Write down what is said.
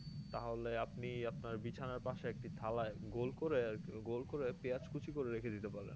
তাহলে আপনি আপনার বিছানার পাশে একটি থালায় গোল করে আর কি গোল করে পেঁয়াজ কুচি করে রেখে দিতে পারেন